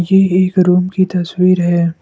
ये एक रूम की तस्वीर है।